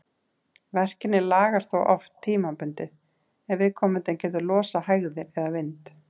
Verkirnir lagast þó oft tímabundið ef viðkomandi getur losað hægðir eða vind.